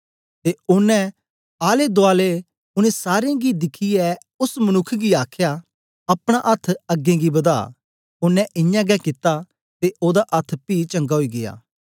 ते ओनें आले दूआले उनै सारें गी दिखियै ओस मनुक्ख गी आखया अपना अथ्थ अगें गी बदा ओनें इयां गै कित्ता ते ओदा अथ्थ पी चंगा ओई गीया